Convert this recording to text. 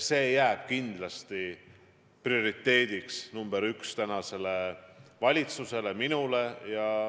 See jääb kindlasti prioriteediks nii mulle kui kogu valitsusele.